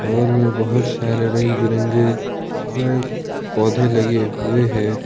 बगल में बहोत सारे रंग बिरंगे पौधे लगे हुए हैं।